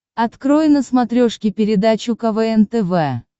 открой на смотрешке передачу квн тв